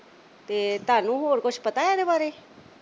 ਤੇ ਤੁਹਾਨੂੰ ਹੋਰ ਕੁਝ ਪਤਾ ਇਹ ਦੇ ਬਾਰੇ